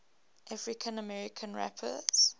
african american rappers